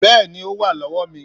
Bẹ́ẹ̀ni o wá lọ́wọ́ mi